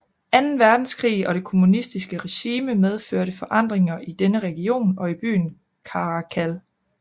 Anden Verdenskrig og det kommunistiske regime medførte forandringer i denne region og i byen Caracal